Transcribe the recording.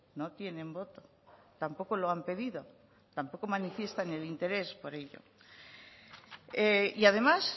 no tienen voto tampoco lo han pedido tampoco manifiestan el interés por ello y además